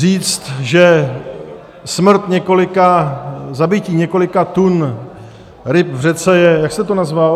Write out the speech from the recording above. Říct, že smrt několika, zabití několika tun ryb v řece je - jak jste to nazval?